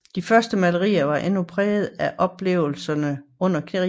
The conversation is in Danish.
De første malerier var endnu præget af oplevelserne under krigen